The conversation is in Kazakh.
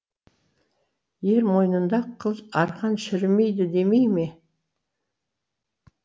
ер мойнында қыл арқан шірімейді демей ме